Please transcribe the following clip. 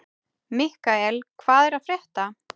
Mikkael, hvað er að frétta?